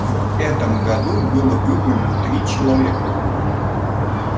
в этом году было выбрано три человека